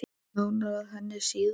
Nánar að henni síðar.